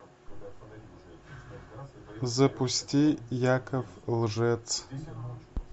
запусти яков лжец